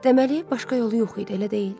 Deməli, başqa yolu yox idi, elə deyil?